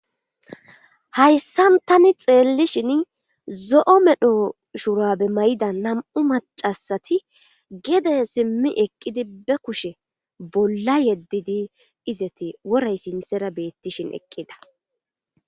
hayssan tani xeellishin zo7o medho shurabe may7ida nam7u macasati geden simmi eqqidi be kushe bolla yeddidi izeti woray sinthera beettishin eqqida